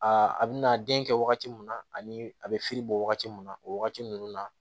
A bɛ na den kɛ wagati mun na ani a bɛ fili bɔ wagati min na o wagati ninnu na